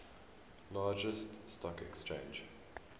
largest stock exchange